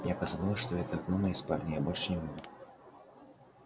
я позабыла что это окно моей спальни я больше не буду